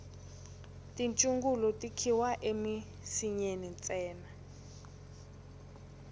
tichungulu ti khiwa emisinyeni ntsena